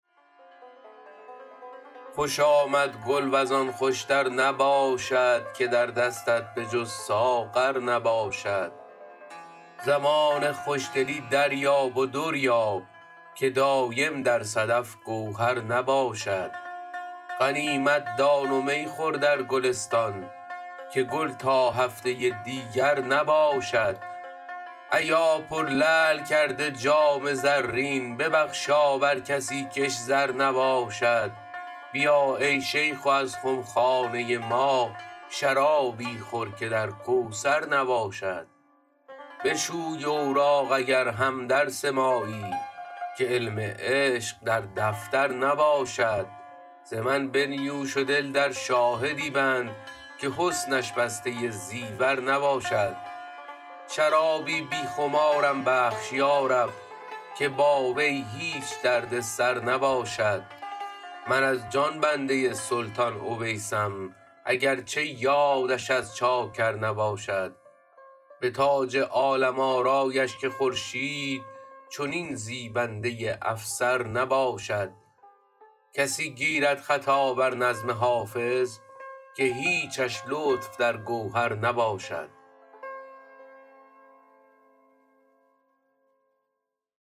خوش آمد گل وز آن خوش تر نباشد که در دستت به جز ساغر نباشد زمان خوش دلی دریاب و در یاب که دایم در صدف گوهر نباشد غنیمت دان و می خور در گلستان که گل تا هفته دیگر نباشد ایا پرلعل کرده جام زرین ببخشا بر کسی کش زر نباشد بیا ای شیخ و از خم خانه ما شرابی خور که در کوثر نباشد بشوی اوراق اگر هم درس مایی که علم عشق در دفتر نباشد ز من بنیوش و دل در شاهدی بند که حسنش بسته زیور نباشد شرابی بی خمارم بخش یا رب که با وی هیچ درد سر نباشد من از جان بنده سلطان اویسم اگر چه یادش از چاکر نباشد به تاج عالم آرایش که خورشید چنین زیبنده افسر نباشد کسی گیرد خطا بر نظم حافظ که هیچش لطف در گوهر نباشد